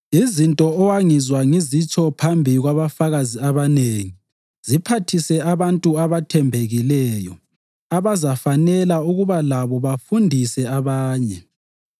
Izinto owangizwa ngizitsho phambi kwabafakazi abanengi ziphathise abantu abathembekileyo abazafanela ukuba labo bafundise abanye.